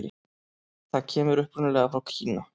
Það kemur upprunalega frá Kína.